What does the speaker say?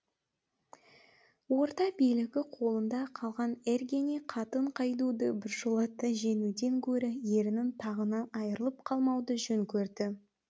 орда билігі қолында қалған эргене қатын қайдуды біржолата жеңуден гөрі ерінін тағынан айрылып қалмауды жөн көрді